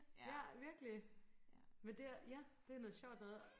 ja virkelig men det ja det noget sjovt noget